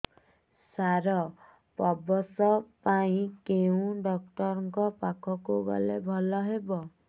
ସାର ପ୍ରସବ ପାଇଁ କେଉଁ ଡକ୍ଟର ଙ୍କ ପାଖକୁ ଗଲେ ଭଲ ହେବ